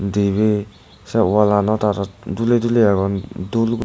dibe sey wallanot aro dule dule agon dul.